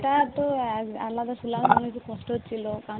এটা তো আমরা তো ছিলাম খুব কষ্ট হচ্ছিলো